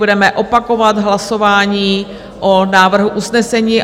Budeme opakovat hlasování o návrhu usnesení.